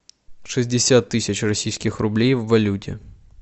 шестьдесят тысяч российских рублей в валюте